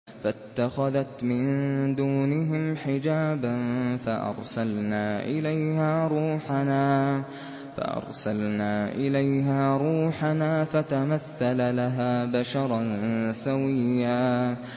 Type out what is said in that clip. فَاتَّخَذَتْ مِن دُونِهِمْ حِجَابًا فَأَرْسَلْنَا إِلَيْهَا رُوحَنَا فَتَمَثَّلَ لَهَا بَشَرًا سَوِيًّا